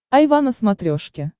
айва на смотрешке